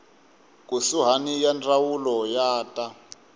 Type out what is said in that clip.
kusuhani ya ndzawulo ya ta